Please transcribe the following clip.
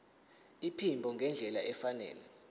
iphimbo ngendlela efanele